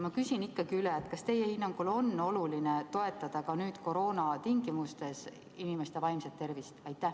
Ma küsin ikkagi üle: kas teie hinnangul on oluline toetada ka nüüd koroona tingimustes inimeste vaimset tervist?